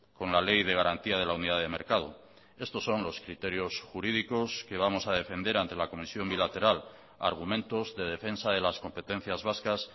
con la ley de garantía de la unidad de mercado estos son los criterios jurídicos que vamos a defender ante la comisión bilateral argumentos de defensa de las competencias vascas